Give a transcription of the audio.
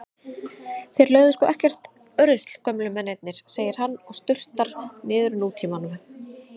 Þeir lögðu sko ekkert rusl gömlu mennirnir, segir hann og sturtar niður Nútímanum.